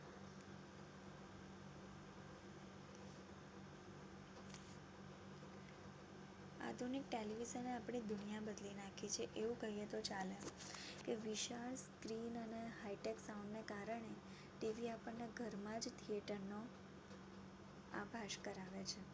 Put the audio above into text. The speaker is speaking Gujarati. આધુનિક television એ આપની દુનિયા બદલી નાખી છે. એવું કહિયે તો ચાલે કે વિશાળ clean અને high tech sound ને કારણે T. V આપણને ઘર મા જ theater નો આભાસ કરાવે છે